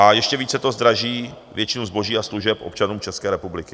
A ještě více to zdraží většinu zboží a služeb občanům České republiky.